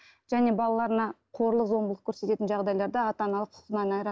және балаларына қорлық зомбылық көрсететін жағдайларда ата аналық құқығынан айырады